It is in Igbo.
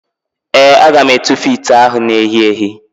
Ee, aga m etufu ite ahụ na-èhí èhí.